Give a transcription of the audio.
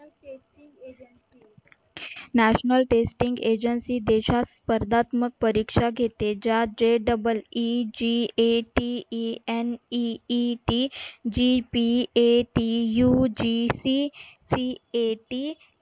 national testing agency देशास स्पर्धात्मक परिक्षा घेते. ज्यात JEEGATENEETGPATUGCCAT